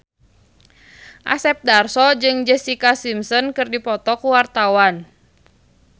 Asep Darso jeung Jessica Simpson keur dipoto ku wartawan